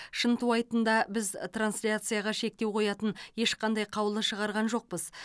шынтуайтында біз трансляцияға шектеу қоятын ешқандай қаулы шығарған жоқпыз